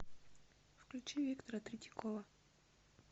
включи виктора третьякова